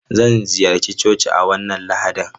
Zan ziyarci coci a wannan Lahadin.